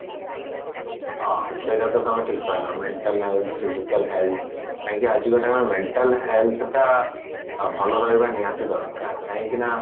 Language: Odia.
ହଁ ସେଇଟା ତ ତମେ ଠିକ କହିଲ mental health physical health କାହିଁକି ଆଜିକା timeରେ mental health ଟା ଭଲ ରହିବା ନିହାତି ଦରକାର କାହିଁକି ନା